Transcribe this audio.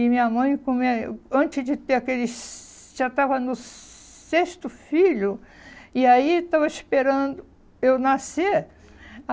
E minha mãe, como é, antes de ter aquele... já estava no sexto filho, e aí estava esperando eu nascer.